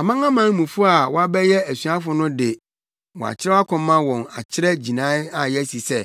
Amanamanmufo a wɔabɛyɛ asuafo no de, wɔakyerɛw akɔma wɔn akyerɛ gyinae a yɛasi sɛ,